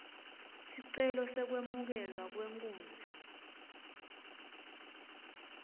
sicelo sekwemukelwa kwenkunzi